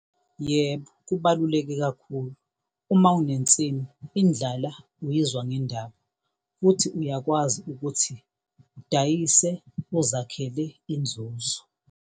Yebo, kubaluleke kakhulu. Uma unensimu indlala uyizwa ngendaba, futhi uyakwazi ukuthi udayise uzakhele inzuzo.